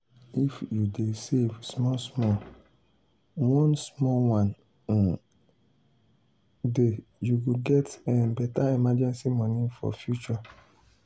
if you dey save small small one small one um day you go get um better emergency money for future.